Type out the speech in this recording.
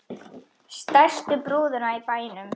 Stærstu brúðuna í bænum.